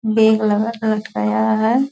Bag लगा कर तैयार है ।